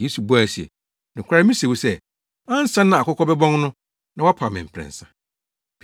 Yesu buae se, “Nokware mise wo sɛ, ansa na akokɔ bɛbɔn no, na woapa me mprɛnsa!”